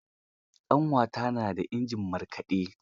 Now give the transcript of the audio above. Ƙanwata na da injin markaɗe.